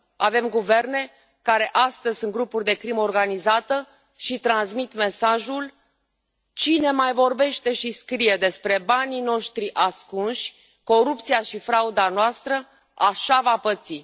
Avem guverne care astăzi sunt grupuri de crimă organizată și transmit mesajul cine mai vorbește și scrie despre banii noștri ascunși, corupția și frauda noastră, așa va păți.